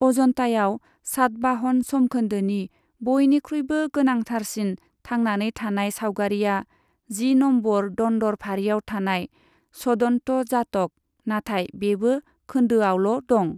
अजन्तायाव सातबाहन समखोन्दोनि बयनिख्रुइबो गोनांथारसिन थांनानै थानाय सावगारिआ जि नम्बर दन्दर फारिआव थानाय छदन्त जातक, नाथाय बेबो खोन्दोआवल' दं।